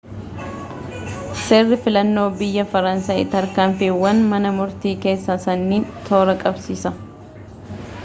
seerri filannoo biyya faransaay tarkaanfiiwwan mana murtii keessaa sanniiin toora qabsiisa